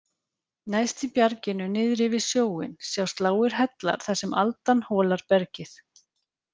Neðst í bjarginu niðri við sjóinn sjást lágir hellar þar sem aldan holar bergið.